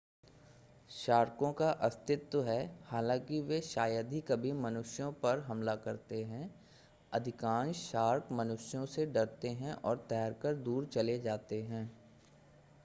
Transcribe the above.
शार्कों का अस्तित्व है हालांकि वे शायद ही कभी मनुष्यों पर हमला करते हैं अधिकांश शार्क मनुष्यों से डरते हैं और तैर कर दूर चले जाते हैं